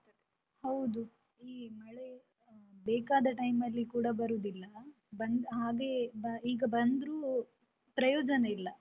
ಹೌದು, ಈ ಮಳೆ ಬೇಕಾದ time ಲ್ಲಿ ಕೂಡ ಬರುದಿಲ್ಲ ಹಾಗೆ ಈಗ ಬಂದ್ರೂ ಪ್ರಯೋಜನ ಇಲ್ಲ.